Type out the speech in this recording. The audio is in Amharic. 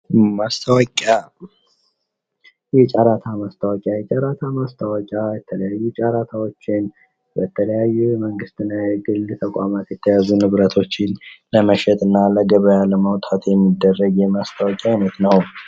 ማስታወቂያ የጨረታ ማስታወቂያ የተለያዩ ጫራታዎችን የተለያዩ የመንግት እና የግል የተያዙ ንብረቶችን ለመሸጥና ለገበያ ለማውጣት የሚጠቀሙበት የሚደረግ የማስታወቂያ አይነት ነው።